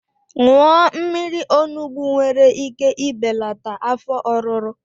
Ịṅụ mmiri onugbu nwere ike ibelata afọ ọruru